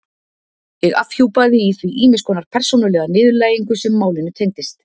Ég afhjúpaði í því ýmiss konar persónulega niðurlægingu sem málinu tengdist.